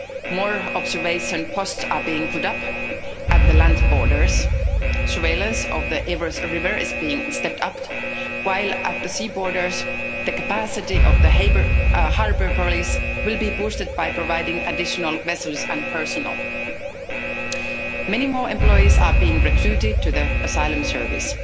More observation posts are being put up at the land borders, surveillance of the Evros river is being stepped up, while at the sea borders the capacity of the harbour police will be boosted by providing additional vessels and personnel. Many more employees are being recruited to the Asylum Service.